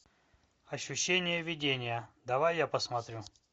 ощущение видения давай я посмотрю